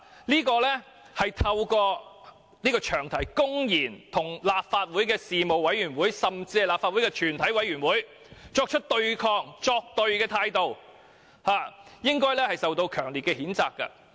這種透過詳題公然與立法會事務委員會甚至是立法會全委會作對的態度，我們應予以強烈譴責。